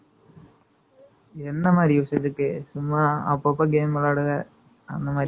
என்ன மாதிரி use இதுக்கு? சும்மா, அப்பப்ப game விளையாடுவ. அந்த மாதிரி